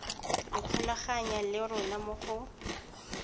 ikgolaganya le rona mo go